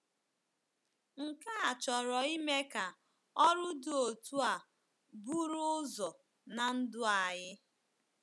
“Nke a chọrọ ime ka ọrụ dị otú a buru ụzọ ná ndụ anyị.